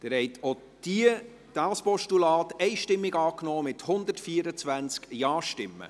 Sie haben auch dieses Postulat einstimmig angenommen, mit 124 Ja-Stimmen.